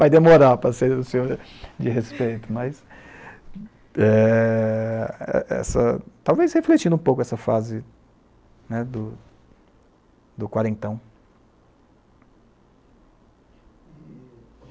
Vai demorar para ser um senhor de respeito, mas talvez refletindo um pouco essa fase do quarentão.